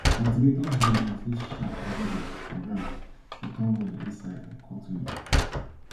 cultivator blade must dey sharp everyday for ground to turn well inside and cut weed